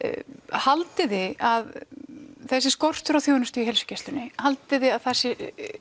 haldið þið að þessi skortur á þjónustu í heilsugæslunni haldið þið að það sé